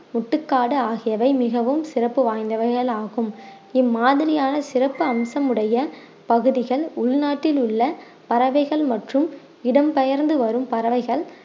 முட்டுக்காடு ஆகியவை மிகவும் சிறப்பு வாய்ந்தவைகள் ஆகும் இம்மாதிரியான சிறப்பு அம்சம் உடைய பகுதிகள் உள்நாட்டில் உள்ள பறவைகள் மற்றும் இடம்பெயர்ந்து வரும் பறவைகள்